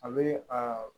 A bɛ aa